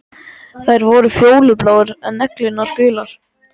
Þær voru fjólubláar, en neglurnar gular.